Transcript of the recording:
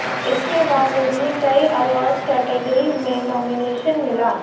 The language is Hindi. इसके बाद उन्हें कई अवॉर्ड्स कैटेगरी में नॉमिनेशन मिला